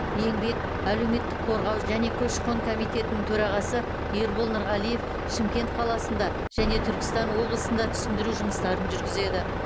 еңбек әлеуметтік қорғау және көші қон комитетінің төрағасы ербол нұрғалиев шымкент қаласында және түркістан облысында түсіндіру жұмыстарын жүргізеді